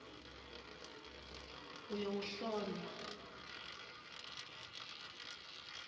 uyowuhlolwa